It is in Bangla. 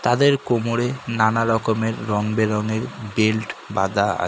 তাদের কোমড়ে নানা রকমের রঙ বেরঙ্গের বেল্ট বাঁধা আ--